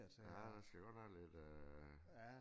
Ja der skal godt nok lidt øh